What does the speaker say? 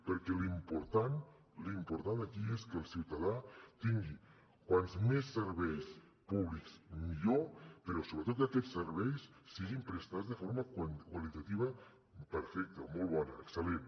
perquè l’important l’important aquí és que el ciutadà tingui com més serveis públics millor però sobretot que aquests serveis siguin prestats de forma qualitativa perfecta molt bona excel·lent